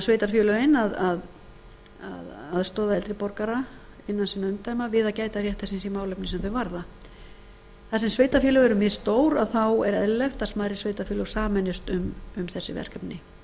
sveitarfélögin að aðstoða eldri borgara innan sinna umdæma við að gæta réttar síns í málefnum sem þá varða þar sem sveitarfélög eru misstór er eðlilegt að smærri sveitarfélög sameinist um þessi verkefni